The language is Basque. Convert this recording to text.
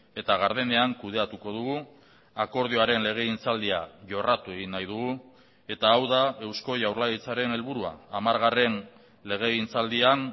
eta gardenean kudeatuko dugu akordioaren legegintzaldia jorratu egin nahi dugu eta hau da eusko jaurlaritzaren helburua hamargarren legegintzaldian